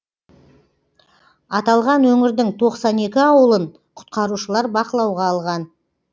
аталған өңірдің тоқсан екі ауылын құтқарушылар бақылауға алған